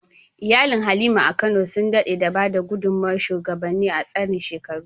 Iyalin Halima a Kano sun daɗe da ba da gudunmawar shugabanni a tsarin shekaru.